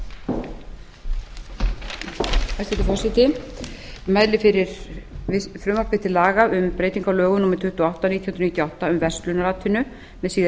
forseti ég mæli fyrir frumvarpi til laga um breytingu á lögum númer tuttugu og átta nítján hundruð níutíu og átta um verslunaratvinnu með síðari